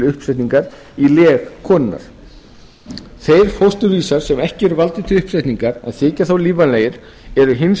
uppsetningar í leg konunnar þeir fósturvísar sem ekki eru valdir til uppsetningar en þykja þó lífvænlegir eru hins